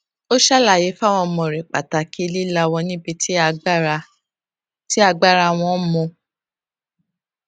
ó ṣàlàyé fáwọn ọmọ rè pàtàkì lílawọ nibi tí agbàra tí agbàra wọn mọ